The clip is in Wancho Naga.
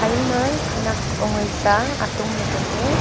aima khanak ongai zaa atongley tailey.